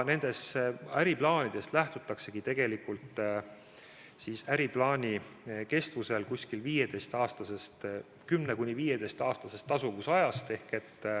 Nendes äriplaanides lähtutaksegi 10–15-aastasest tasuvusajast.